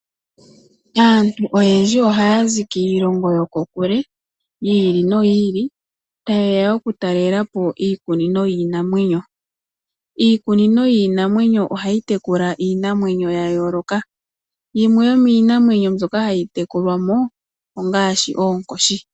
Aantu oyendji ohaya zi kiilongo yo kokule, yi ili noyi ili, ta yeya oku talela po iikunino yiinamwenyo. Iikunino yionamwenyo ohayi tekula iinamwenyo ya yooloka. Yimwe yo miiinamwenyo mbyoka hayi tekulwamo ongaashi oonkoshi.